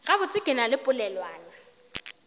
gabotse ke na le polelwana